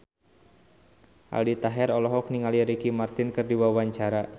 Aldi Taher olohok ningali Ricky Martin keur diwawancara